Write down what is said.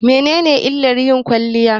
Mene illar yin kwaliya?